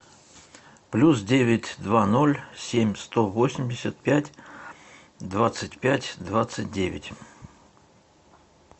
плюс девять два ноль семь сто восемьдесят пять двадцать пять двадцать девять